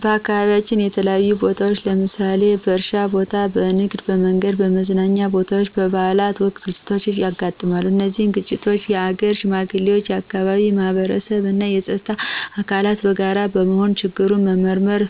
በአካባቢያችን በተለያዩ ቦታዎች ለምሳሌ በእርሻ ቦታ፣ በንግድ፣ በመንገድ፣ በመዝናኛ ቦታወች፣ በበአላት ወቅት ግጭቶች ያጋጥማሉ። እነዚህን ግጭቶች የሀገር ሽማግሌዎች፣ የአካባቢው ማህበረሰብ እና የፀጥታ አካላት በጋራ በመሆን ችግሩን በመመርመር